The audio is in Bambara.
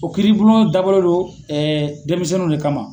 O kiiribulon dabɔlen do denmisɛnninw de kama.